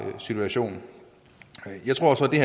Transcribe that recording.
situation jeg tror så det